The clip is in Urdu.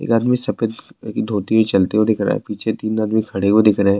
ایک آدمی سفید دھوتی چلتے ہوئے دکھ رہا ہے، پیچھے تین آدمی کھڈے ہوئے دکھ رہی ہیں-